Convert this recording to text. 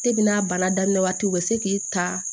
n'a baara daminɛ waati u bɛ se k'i ta